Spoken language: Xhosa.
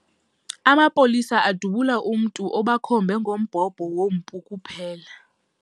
Amapolisa adubula umntu obakhombe ngombhobho wompu kuphela.